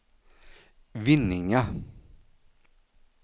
Vinninga